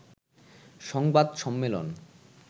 সংবাদ সম্মেলন